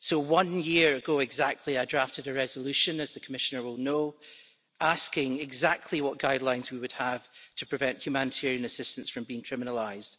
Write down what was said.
One year ago exactly I drafted a resolution, as the Commissioner will know, asking exactly what guidelines we would have to prevent humanitarian assistance from being criminalised.